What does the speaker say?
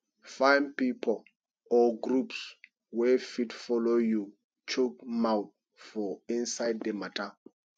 find pipo or groups wey fit follow you chook mouth for inside di matter